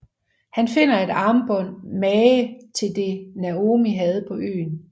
Han finder et armbånd mange til det Naomi havde på øen